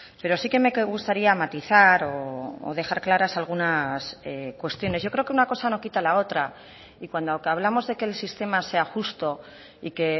pero sí que me gustaría matizar o dejar claras algunas cuestiones yo creo que una cosa no quita la otra y cuando hablamos de que el sistema sea justo y que